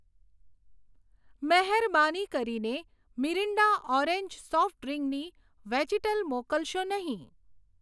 મહેરબાની કરીને Mirinda orange soft ડ્રીંકની વેજીટલ મોકલશો નહીં.